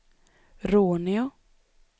Råneå